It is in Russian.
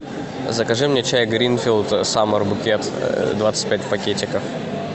закажи мне чай гринфилд саммер букет двадцать пять пакетиков